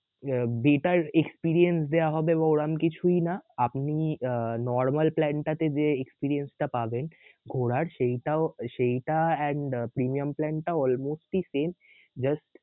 better experience দেয়া হবে বললাম কিছুই না আপনি আহ normal plan টাতে যে experience টা পাবেন ঘোরার সেইটাও সেইটা and premium plan টাও almost same just